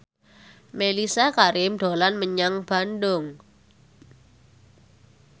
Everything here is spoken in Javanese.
Mellisa Karim dolan menyang Bandung